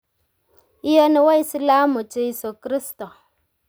Iyoni waislamu Jeiso Kristo.